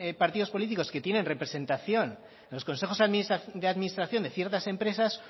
partidos políticos que tienen representación en los consejos de administración de ciertas empresas